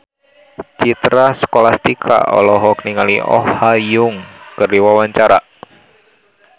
Citra Scholastika olohok ningali Oh Ha Young keur diwawancara